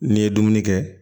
N'i ye dumuni kɛ